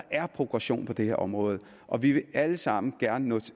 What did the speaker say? er progression på det her område og vi vil alle sammen gerne nå